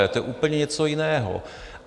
A to je úplně něco jiného.